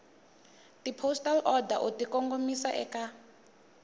tipostal order u tikongomisa eka